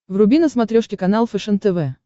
вруби на смотрешке канал фэшен тв